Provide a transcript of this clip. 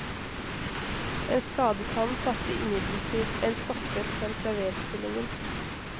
En skadet hånd satte imidlertid en stopper for klaverspillingen.